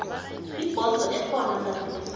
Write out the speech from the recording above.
ibhodo ekhona gadesi